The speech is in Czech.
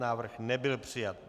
Návrh nebyl přijat.